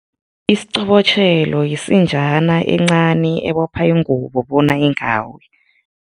Isiqobotjhelo yisinjana encani, ebopha ingubo bona ingawi.